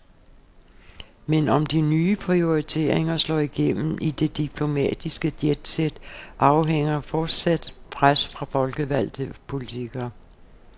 Men om de nye prioriteringer slår igennem i det diplomatiske jetset, afhænger af fortsat pres fra folkevalgte politikere.